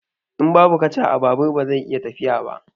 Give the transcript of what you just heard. In babu kaca, babur ba zai iya tafiya ba.